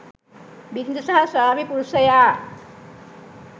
බිරිඳ සහ ස්වාමි පුරුෂයා